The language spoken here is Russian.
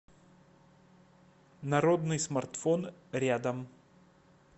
народный смартфон рядом